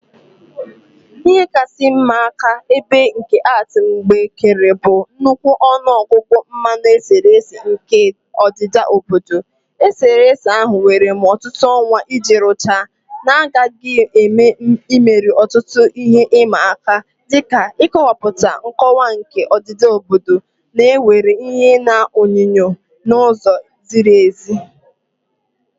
Ihe kasị ịma aka ibe nke art m mgbe kere bụ nnukwu ọnụ ọgụgụ mmanụ eserese nke a odida obodo. Eserese ahụ were m ọtụtụ ọnwa iji rụchaa, na aghaghị m imeri ọtụtụ ihe ịma aka, dị ka ịkọwapụta nkọwa nke odida obodo na iwere ìhè na onyinyo n'ụzọ ziri ezi.